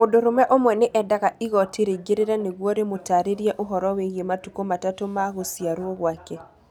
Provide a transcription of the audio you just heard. Mũndũrũme ũmwe nĩ eendaga igooti rĩingĩrĩre nĩguo rĩmũtaarĩrie ũhoro wĩgiĩ matukũ matatũ ma gũciarũo gwake